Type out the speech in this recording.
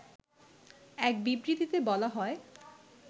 এক বিবৃতিতে বলা হয়